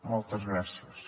moltes gràcies